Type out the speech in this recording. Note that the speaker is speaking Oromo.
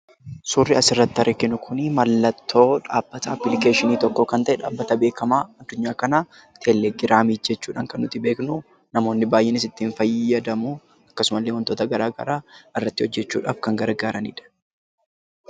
Suurri asii gaditti arginu kun mallattoo dhaabbata 'appilikeeshinii' tokkoo kan ta'e dhaabbata beekamaa addunyaa kanaa 'Teelegiraamii' jechuudhaan kan nuti beeknu; namootni baay'eenis ittiin fayyadamu. Akkasuma illee wantoota garaa garaa irratti hojjechuudhaaf kan gargaaraniidha.